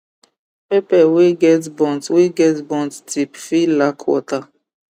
pepper wey get burnt wey get burnt tip fit lack water